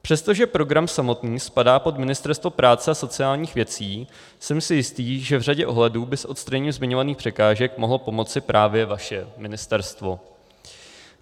Přestože program samotný spadá pod Ministerstvo práce a sociálních věcí, jsem si jistý, že v řadě ohledů by s odstraněním zmiňovaných překážek mohlo pomoci právě vaše ministerstvo.